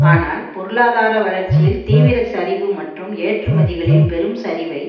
ஆனால் பொருளாதார வளர்ச்சியில் தீவிர சரிவு மற்றும் ஏற்றுமதிகளில் பெரும் சரிவை